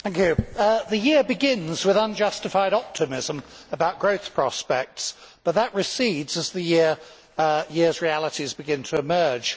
Mr President, the year begins with unjustified optimism about growth prospects, but that recedes as the year's realities begin to emerge.